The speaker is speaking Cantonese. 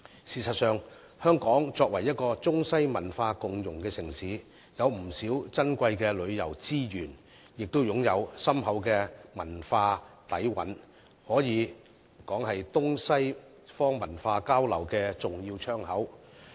事實上，香港作為中西文化共融的城市，擁有不少珍貴的旅遊資源，亦擁有深厚的文化底蘊，可以說是東西方文化交流的重要窗口。